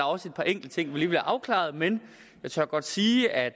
også et par enkelte ting vi lige vil have afklaret men jeg tør godt sige at